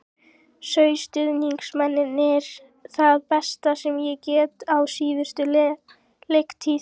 Sáu stuðningsmennirnir það besta sem ég get á síðustu leiktíð?